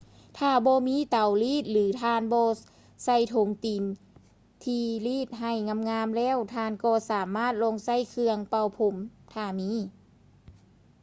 ຖ້າບໍ່ມີເຕົາລີດ ຫຼື ທ່ານບໍ່ໃສ່ຖົງຕີນທີ່ລີດໃຫ້ງາມໆແລ້ວ ທ່ານກໍສາມາດລອງໃຊ້ເຄື່ອງເປົ່າຜົມ ຖ້າມີ